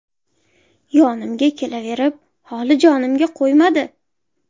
Yonimga kelaverib, holi jonimga qo‘ymadi.